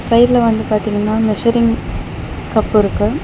சைடுல வந்து பாதிங்கனா மெஷரிங் கப்பிருக்கு .